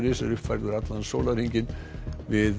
is er uppfærður allan sólarhringinn við